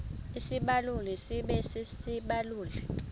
isibaluli sibe sisibaluli